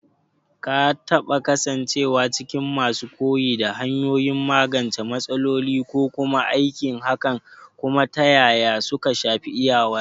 Ka taɓa kasancewa cikin masu koyi da hanyoyin magance matsaloli ko kuma aikin hakan, kuma ta yaya suka shafi iyawarka?